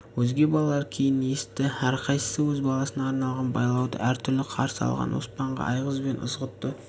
өзге балалар кейін есітті әрқайсысы өз басына арналған байлауды әртүрлі қарсы алған оспанға айғыз бен ызғұтты